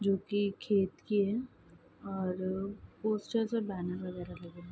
जो कि खेत की है और अ पोस्टरस और बैनर वगैरा लगे है ।